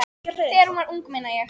Þegar hún var ung, meina ég.